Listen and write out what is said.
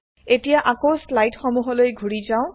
এতিয়া আকৌ স্লাইড সমুহলৈ ঘুৰি যাওঁ